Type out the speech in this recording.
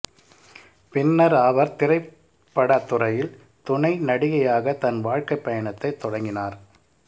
பின்னர் அவர் திரைப்பட துறையில் துணை நடிகையாக தன் வாழ்க்கைப்பயணத்தை தொடங்கினார்